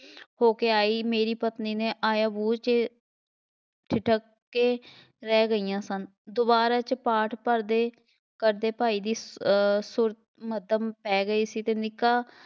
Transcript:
ਹੋ ਕੇ ਆਈ ਮੇਰੀ ਪਤਨੀ ਨੇ ਆਇਆ ਠਿਠਕ ਕੇ ਰਹਿ ਗਈਆਂ ਸਨ, ਦੁਬਾਰਾ 'ਚ ਪਾਠ ਭਰਦੇ ਕਰਦੇ ਭਾਈ ਜੀ ਅਹ ਸੁਰ ਮੱਧਮ ਪੈ ਗਏ ਸੀ ਅਤੇ ਨਿੱਕਾ